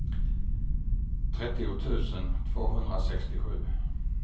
trettio tusen tvåhundrasextiosju